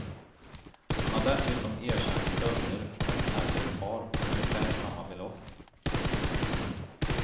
Han har dessutom erkänt stölder från ett äldre par på ungefär samma belopp.